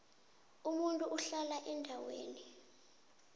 umuntu uhlala endaweni